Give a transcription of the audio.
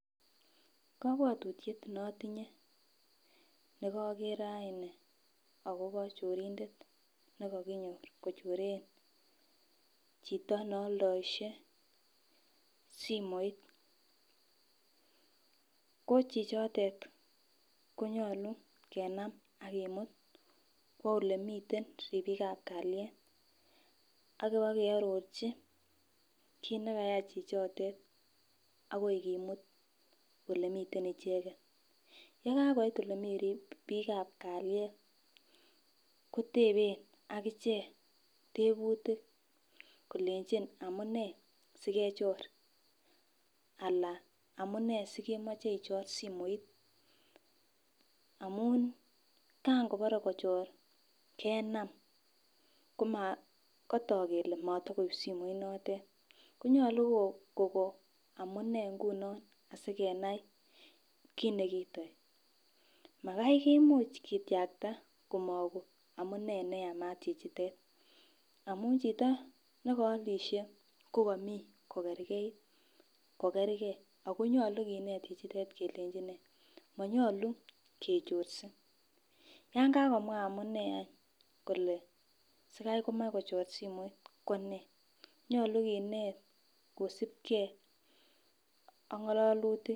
Kobwotutyet ne otinye nekoker rainin akobo chorindet nekokinyor kochoren chito neoldoishe simoit, ko chichotet konyolu kenam ak kimut kwo olemiten ribikap kalyet akiwa keorochi kit nekayai chichotet akoi kimut olemiten icheket. Yekakoit olemii bikap kalyet koteben akichek tebutuk kolenjin amunee sikechor ala amunee sikemoche ichor simoit amun kan kobore kochor kenam kotok kele moyokoib simoit notet konyolu ko Koko amunee nguno asikenai kit nekiitoi. Makai kimuch kityakta komoko amunee neyamat chichitet amun chito nekolishek ko komii kogergeit kogerge ako nyolu kinet chichitet kelenji new monyolu kechorse yan kakomea amunee any kole sikai komach kochor simoit konee, nyolu kinet kosibgee ak ngololutik.